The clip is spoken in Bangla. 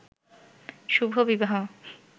শুভ বিবাহ